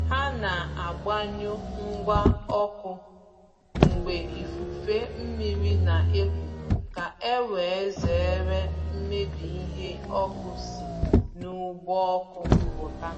Ha na agbanyụ ngwa ọkụ mgbe ifufe mmiri na-eku ka e wee zere mmebi ihe ọkụ si n’ụgbọ ọkụ pụta.